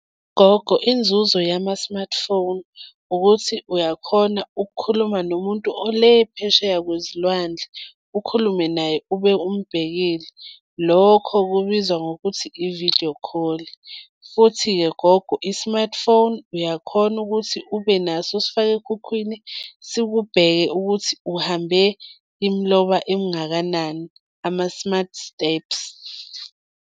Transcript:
Gogo, inzuzo yama-smartphone ukuthi uyakhona ukukhuluma nomuntu ole phesheya kwezilwandle. Ukhulume naye ube umbhekile. Lokho kubizwa ngokuthi i-video call. Futhi-ke gogo i-smartphone uyakhona ukuthi ube naso usifake ekhukhwini, sikubheke ukuthi uhambe imiloba emingakanani, ama-smart steps.